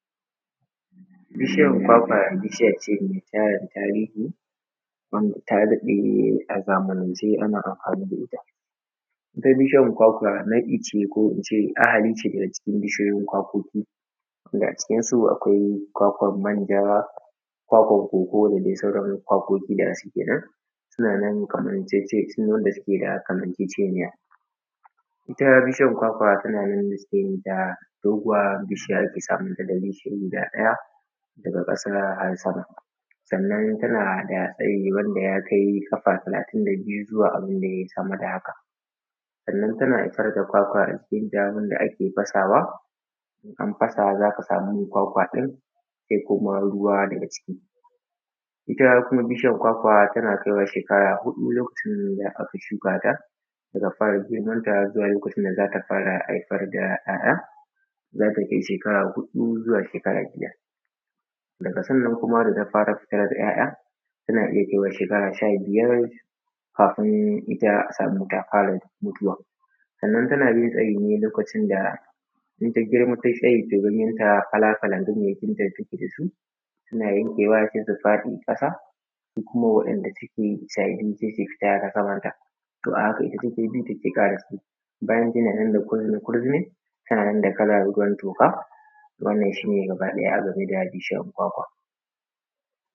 Bishiyan kwakwa mai tarin tarihi wanda taa daɗe a zamanance ana amfaani da ita. Ita bishiyar kwakwa naɗi ce ko ince ahalice daga cikin bishiyoyin kwakoki, wanda acikinsu akwai kwakwan manja, kwakwan koko da dai sauran kwakoki da suke nan, suna nan kamar jaijai sune wanda suke da kamanceceniya. ita bishiyan kwakwa tana nan yanda suke yinta doguwar bishiya ake samun ta da reshe guda ɗaya daga ƙasa har sama. sannan tana da tsayi wanda ya kai ƙaaf talatin da biyu zuwa abin da yayi sama da haka. sannan tana fitar da kwakwa ajikin ta wanda ake fasawa in an fasa za ka samu kwakwa ɗin sai kuma ruwa daga ciki. Ita kuma bishiyar kwakwa tana kaiwa sheekara huɗu lokacin da aka shuka ta daga fara girmanta zuwa lokacin da za ta fara haifar da 'ya'ya, za ta kai shekara huɗu zuwa shekara biyar, daga sannan kuma da ta fara fitar da 'ya'ya tana iya kaiwa sheekara sha biyar kafin ita a samu taa fara mutuwa. Sannan tana yin tsayi ne lokacin da in ta girma ta yi tsayi tai yi zubinta fala-falan ganyayyakinta da take da su, suna yankewa sai su faɗi ƙasa su kuma wanda suke sababbi sai su tsaya a samanta. To a haka ita take bi take ƙara tsayi, bayan tana nan da kala ruwan toka wannan shi ne gaba ɗaya a game da bishiyar kwakwa